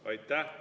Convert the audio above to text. Aitäh!